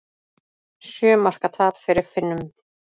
Sjö marka tap fyrir Finnum